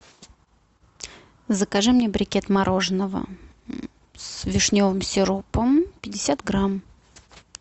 закажи мне брикет мороженого с вишневым сиропом пятьдесят грамм